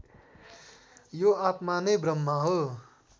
यो आत्मा नै ब्रह्म हो